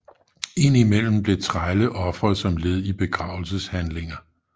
Indimellem blev trælle ofret som led i begravelseshandlinger